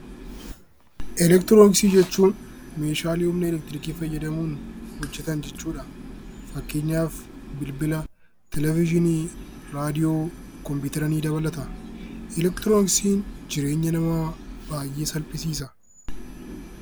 Elektirooniksii jechuun meeshaalee humna elektiriikii fayyadamuun hojjetan jechuu dha. Fakkeenyaaf Bilbila, Televezyiinii, Raadiyoo, Kompiyuutera ni dabalata. Elektirooniksiin jireenya namaa baay'ee salphisiisa.